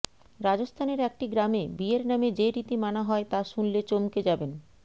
রাজস্থানের একটি গ্রামে বিয়ের নামে যে রীতি মানা হয় তা শুনলে চমকে যাবেন